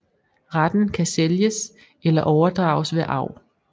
Retten kan sælges eller overdrages ved arv